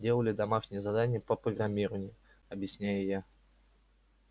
делали домашнее задание по программированию объясняю я